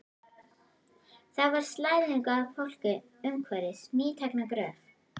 Þar var slæðingur af fólki umhverfis nýtekna gröf.